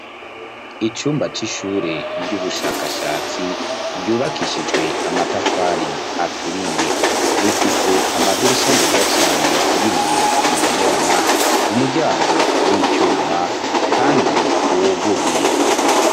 Icumba c'ishure ry'ubushakashatsi ryubakishijwe amatafari aturiye rifise amadirisha meza cane y'ibiyo bibonerana umuryango w'ityuma, kandi uwoguruye.